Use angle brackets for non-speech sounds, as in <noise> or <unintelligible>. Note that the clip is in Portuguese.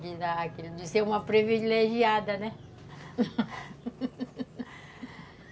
<unintelligible> de ser uma privilegiada, né? <laughs>